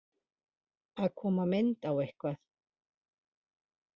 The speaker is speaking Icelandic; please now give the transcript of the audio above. Að koma mynd á eitthvað